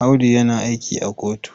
Audu yana aiki a kotu.